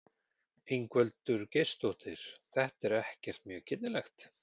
Ingveldur Geirsdóttir: Þetta er ekkert mjög girnilegt?